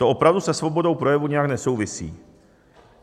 To opravdu se svobodou projevu nijak nesouvisí.